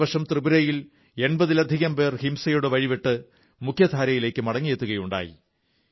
കഴിഞ്ഞ വർഷം ത്രിപുരയിൽ എൺപതിലധികം പേർ ഹിംസയുടെ വഴി വിട്ട് മുഖ്യധാരയിലേക്ക് മടങ്ങിയെത്തുകയുണ്ടായി